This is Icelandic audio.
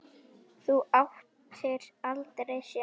Þú áttir aldrei séns